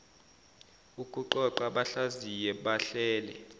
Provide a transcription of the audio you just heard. ukuqoqa bahlaziye bahlele